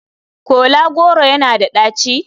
Kola goro yana da daci?